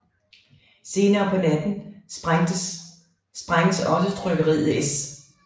Senere på natten sprænges også trykkeriet S